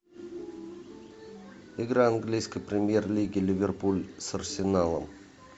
игра английской премьер лиги ливерпуль с арсеналом